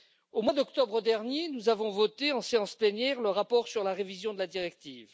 Au mois d'octobre dernier, nous avons voté en séance plénière le rapport sur la révision de la directive.